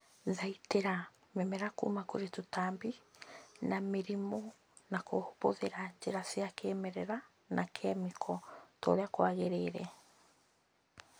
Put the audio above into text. Thaitĩra mĩmera kuma kũri tũtambi na mĩrimũ na kũhũthĩra njĩra cia kĩmerera na kĩmĩko torĩa kwagĩrĩire